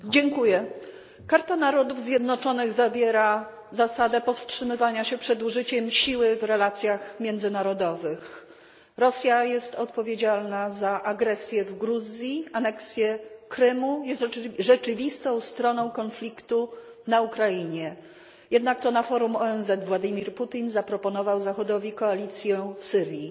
Pani Przewodnicząca! Karta Narodów Zjednoczonych zawiera zasadę powstrzymywania się przed użyciem siły w relacjach międzynarodowych. Rosja jest odpowiedzialna za agresję w Gruzji, aneksję Krymu, jest rzeczywistą stroną konfliktu na Ukrainie, jednak to na forum ONZ Władimir Putin zaproponował Zachodowi koalicję w Syrii.